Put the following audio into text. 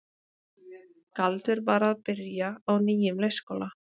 Galdur var að byrja á nýjum leikskóla.